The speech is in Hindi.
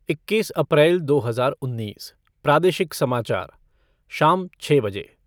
इक्कीस चार दो हज़ार उन्नीस, प्रादेशिक समाचार शाम छः बजे